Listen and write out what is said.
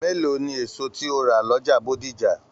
Mélòó ní èso tí o ra l'ọja Bódìjà?